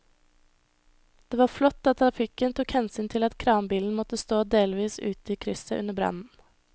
Det var flott at trafikken tok hensyn til at kranbilen måtte stå delvis ute i krysset under brannen.